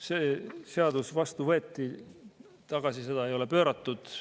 See seadus võeti vastu, tagasi seda ei ole pööratud.